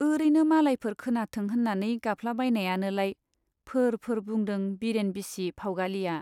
ओरैनो मालायफोर खोनाथों होन्नानै गाबफ्लाबायनायानोलाय फोर फोर बुंदों बिरेन बिसि फाउगालिया।